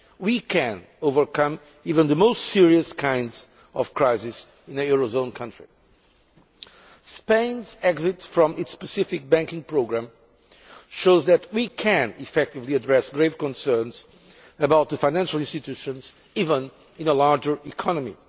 we can overcome even the most serious kinds of crisis in a eurozone country. Spain's exit from its specific banking programme shows that we can effectively address grave concerns about the financial institutions, even in a larger economy.